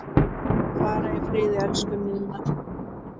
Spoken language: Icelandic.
Far í friði, elsku Ninna.